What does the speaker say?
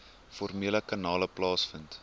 formele kanale plaasvind